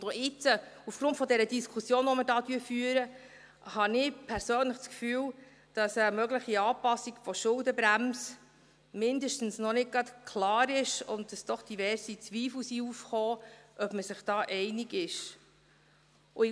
Auch jetzt, aufgrund der Diskussion, die wir führen, habe ich persönlich das Gefühl, dass eine mögliche Anpassung der Schuldenbremse mindestens noch nicht gerade klar ist und dass doch diverse Zweifel aufgekommen sind, ob man sich da einig ist.